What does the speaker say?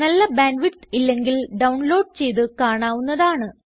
നല്ല bandwidth ഇല്ലെങ്കിൽ download ചെയ്ത് കാണാവുന്നതാണ്